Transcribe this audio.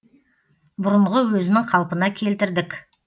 бұрынғы өзінің қалпына келтірдік